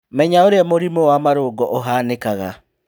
Menya ũrĩa mũrimũ wa marũngo ũhanĩkaga